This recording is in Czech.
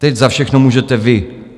Teď za všechno můžete vy.